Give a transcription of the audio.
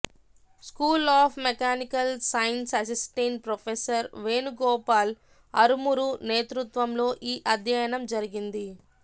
school of mechanical science assistant professor Venugopal Arumuru నేతృత్వంలో ఈ అధ్యయనం జరిగింది